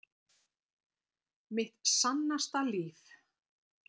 Mitt sannasta líf.